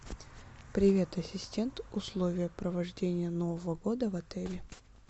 привет ассистент условия провождения нового года в отеле